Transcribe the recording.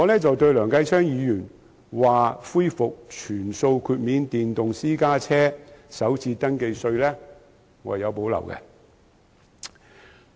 對於梁繼昌議員建議恢復全數豁免電動私家車首次登記稅，我有所保留。